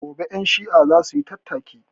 Gobe ƴan shi'a zasuyi tattaki